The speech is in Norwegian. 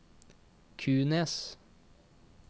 Kunes